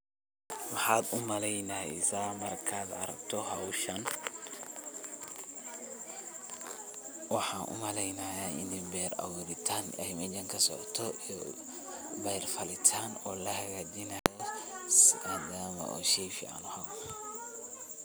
Maxaad umaleynaysa markad aragto xowshaan, waxan umaleynaya ini beer awuritan inay kasocoto, beer falitan oo lahagajinayo sidas wa shey fican.